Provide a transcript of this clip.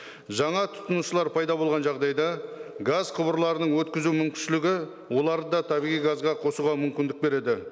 жаңа тұтынушылар пайда болған жағдайда газ құбырларының өткізу мүмкіншілігі оларды да табиғи газға қосуға мүмкіндік береді